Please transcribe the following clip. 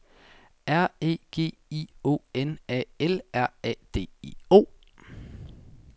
R E G I O N A L R A D I O